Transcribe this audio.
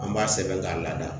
An b'a sɛbɛn k'a lada